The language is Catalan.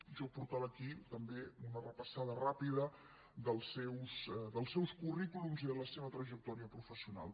jo portava aquí també una repassada ràpida dels seus currículums i de la seva trajectòria professional